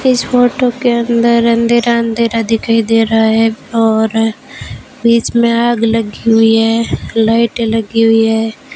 इस फोटो के अंदर अंधेरा अंधेरा दिखाई दे रहा है और बीच में आग लगी हुई है लाइटे लगी हुई है।